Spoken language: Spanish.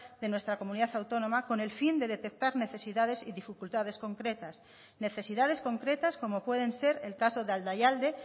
de nuestra comunidad autónoma con el fin de detectar necesidades y dificultades concretas necesidades concretas como pueden ser el caso de aldaialde